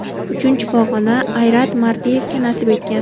Uchinchi pog‘ona Ayrat Mardeyevga nasib etgan.